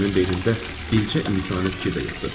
Mənim beynimdə bircə insani fikir də yoxdur.